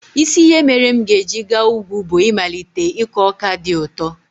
Isi ihe mere m ga-eji gaa ugwu bụ ịmalite ịkọ ọka dị ụtọ.